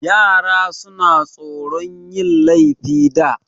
Yara suna tsoron yin laifi da.